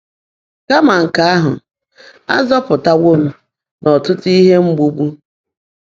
Kàmà nkè áhụ́, á zọ́pụ́taáwó m n’ọ́tụ́tụ́ íhe mgbụ́gbu.